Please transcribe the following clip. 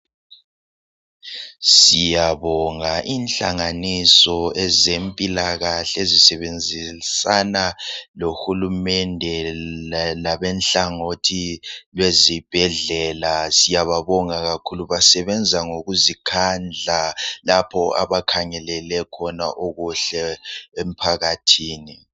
Siyabonga inhlanganiso ezempilakahle ezisebenzisana lohulumende, labenhlangothi lwezibhedlela siyababonga kakhulu. Basebenza ngokuzikhandla lapho abakhangelele khona okuhle emphakathini.